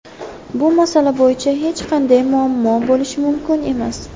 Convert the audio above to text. Bu masala bo‘yicha hech qanday muammo bo‘lishi mumkin emas”.